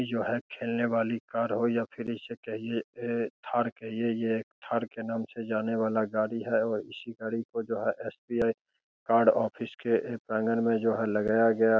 इ जो है खेलने वाली कार हो या फिर इसे कहिए ए कहिए ये एक थार के नाम से जाने वाला गाड़ी है और इसी गाड़ी को एस.बी.आई. कार्ड ऑफिस के प्रांगण में जो है लगाया गया ।